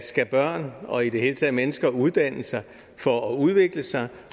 skal børn og i det hele taget mennesker uddanne sig for at udvikle sig